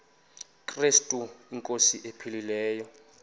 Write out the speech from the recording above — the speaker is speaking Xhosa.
krestu inkosi ephilileyo